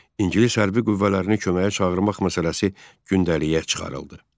İngilis hərbi qüvvələrini köməyə çağırmaq məsələsi gündəliyə çıxarıldı.